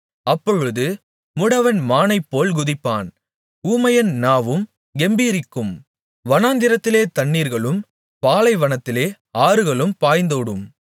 அப்பொழுது முடவன் மானைப்போல் குதிப்பான் ஊமையன் நாவும் கெம்பீரிக்கும் வனாந்திரத்திலே தண்ணீர்களும் பாலைவனத்திலே ஆறுகளும் பாய்ந்தோடும்